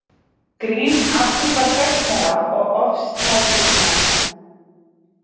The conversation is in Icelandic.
Grín afhjúpar hræsnara og ofstækismenn.